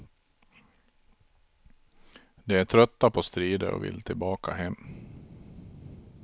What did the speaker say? De är trötta på strider och vill tillbaka hem.